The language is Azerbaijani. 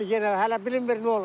hələ bilinmir nə olacaq.